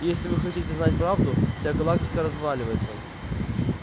и если вы хотите знать правду вся галактика разваливается